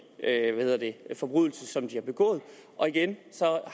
forbrydelse som de har begået og igen